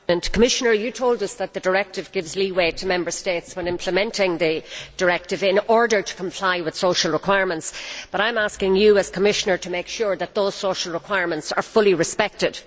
Commissioner, you told us that the directive gives leeway to Member States when implementing it in order to comply with social requirements, but I am asking you, as Commissioner, to make sure that those social requirements are fully respected.